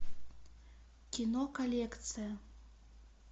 кино коллекция